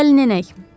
Gəlin enək.